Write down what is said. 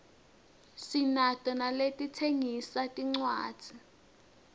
sinato naletitsengisa tincwadzi